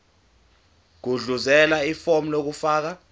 gudluzela ifomu lokufaka